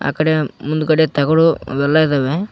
ಈಕಡೆ ಮುಂದಗಡೆ ತಗೋಳೊವ ವೆಲ್ಲಾ ಇದಾವೆ.